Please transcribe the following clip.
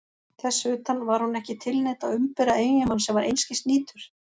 Þess utan: var hún ekki tilneydd að umbera eiginmann sem var einskis nýtur?